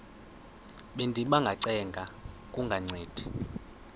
bendiba ngacenga kungancedi